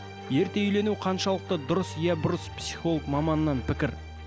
ерте үйлену қаншалықты дұрыс иә бұрыс психолог маманынан пікір